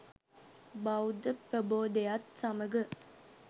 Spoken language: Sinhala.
බෞද්ධ ප්‍රබෝධයත් සමඟ